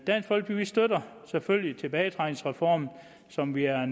dansk folkeparti støtter selvfølgelig tilbagetrækningsreformen som vi er